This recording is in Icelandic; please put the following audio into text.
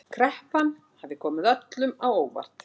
Kreppan hafi komið öllum á óvart